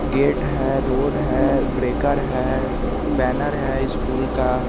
gate है road है breaker है बैनर है स्कूल का--